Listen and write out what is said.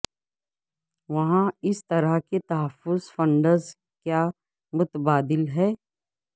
وہاں اس طرح کے تحفظ فنڈز کیا متبادل ہیں